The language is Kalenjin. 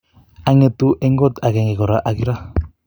angetu en kot agenge kora ak Ira.